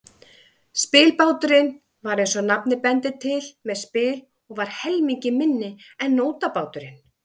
Spilbáturinn var, eins og nafnið bendir til, með spil og var helmingi minni en nótabáturinn.